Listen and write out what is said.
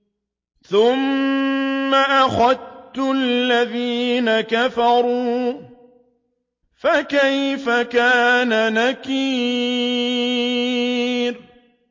ثُمَّ أَخَذْتُ الَّذِينَ كَفَرُوا ۖ فَكَيْفَ كَانَ نَكِيرِ